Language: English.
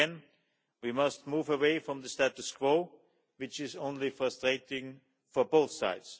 Again, we must move away from the status quo, which is only frustrating for both sides.